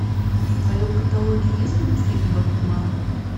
в твоем каталоге есть мультфильм бакуман